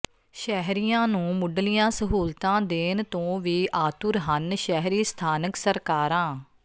ਸ਼ਹਿਰੀਆਂ ਨੂੰ ਮੁੱਢਲੀਆਂ ਸਹੂਲਤਾਂ ਦੇਣ ਤੋਂ ਵੀ ਆਤੁਰ ਹਨ ਸ਼ਹਿਰੀ ਸਥਾਨਕ ਸਰਕਾਰਾਂ